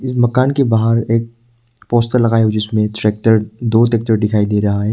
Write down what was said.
इस मकान के बाहर एक पोस्टर लगाया हुआ है जिसमें ट्रैक्टर दो ट्रैक्टर दिखाई दे रहा है।